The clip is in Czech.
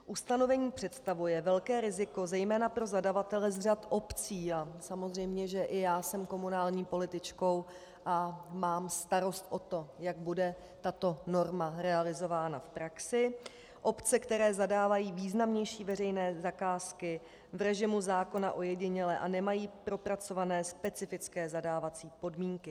Ustanovení představuje velké riziko zejména pro zadavatele z řad obcí - a samozřejmě, že i já jsem komunální političkou a mám starost o to, jak bude tato norma realizována v praxi - obce, které zadávají významnější veřejné zakázky v režimu zákona ojediněle a nemají propracované specifické zadávací podmínky.